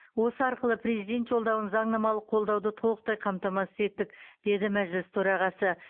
осы арқылы президент жолдауын заңнамалық қолдауды толықтай қамтамасыз еттік деді мәжіліс төрағасы